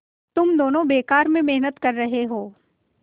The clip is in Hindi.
तुम दोनों बेकार में मेहनत कर रहे हो